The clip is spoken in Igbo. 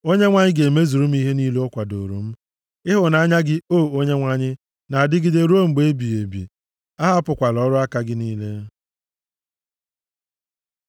Onyenwe anyị ga-emezuru m ihe niile o kwadoro m; + 138:8 \+xt Fil 1:6\+xt* ịhụnanya gị, o Onyenwe anyị, na-adịgide ruo mgbe ebighị ebi, ahapụkwala ọrụ aka gị niile.